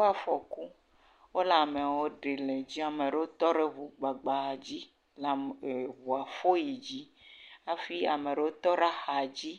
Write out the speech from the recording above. Eŋuwo kpɔ afɔku. Wole amewo ɖe le edzi. Ame aɖewo tɔ ɖe ŋu gbagba dzi la le ŋu fɔm yi dzi hafi ame tɔ ɖe axa dzi